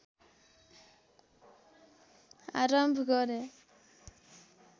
आरम्भ गरे